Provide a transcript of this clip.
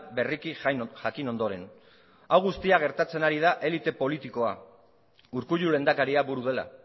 berriki jakin ondoren hau guztia gertatzen ari da elite politikoa urkullu lehendakaria buru dela